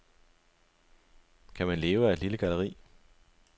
Kan man leve af et lille galleri?